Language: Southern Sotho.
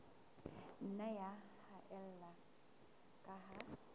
nna ya haella ka ha